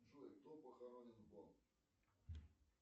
джой кто похоронен